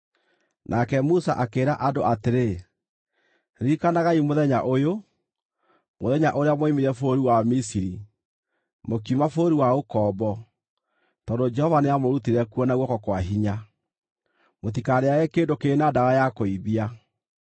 Nake Musa akĩĩra andũ atĩrĩ, “Ririkanagai mũthenya ũyũ, mũthenya ũrĩa mwoimire bũrũri wa Misiri, mũkiuma bũrũri wa ũkombo, tondũ Jehova nĩamũrutire kuo na guoko kwa hinya. Mũtikarĩĩage kĩndũ kĩrĩ na ndawa ya kũimbia.